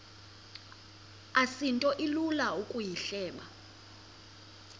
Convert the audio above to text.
asinto ilula ukuyihleba